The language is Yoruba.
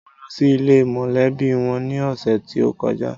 Mo lọ sí ilé e mọ̀lẹ́bí wọn ní ọ̀sẹ̀ tí ó kọjá.